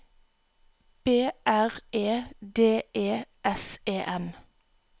B R E D E S E N